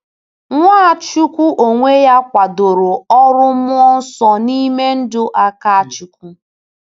Nwachukwu onwe ya kwadoro ọrụ Mmụọ Nsọ n’ime ndụ Akáchukwu.